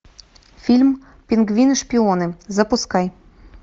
фильм пингвины шпионы запускай